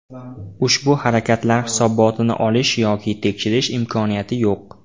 Ushbu harakatlar hisobotini olish yoki tekshirish imkoniyati yo‘q.